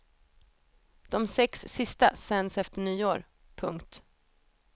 De sex sista sänds efter nyår. punkt